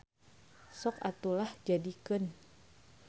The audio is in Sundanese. Sok atuh lah jadikeun.